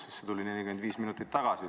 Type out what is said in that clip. See ju tuli 45 minutit tagasi.